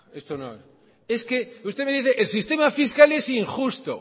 esto no es que usted me dice el sistema fiscal es injusto